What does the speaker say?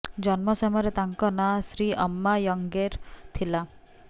ଜନ୍ମ ସମୟରେ ତାଙ୍କ ନାଁ ଶ୍ରୀ ଅମ୍ମା ୟଙ୍ଗେର୍ ଥିଲା